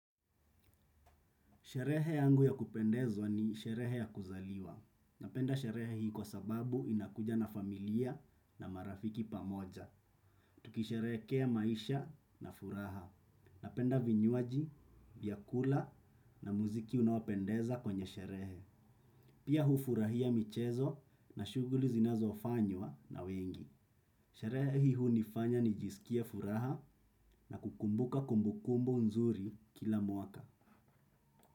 Sherehe yangu ya kupendezwa ni sherehe ya kuzaliwa. Napenda sherehe hii kwa sababu ninakuja na familia na marafiki pamoja. Tukisherehekea maisha na furaha. Napenda vinywaji, vyakula na muziki unaopendeza kwenye sherehe. Pia hufurahia michezo na shughuli zinazofanywa na wengi. Sherehe hii hunifanya nijisikie furaha nakukumbuka kumbukumbu nzuri kila mwaka.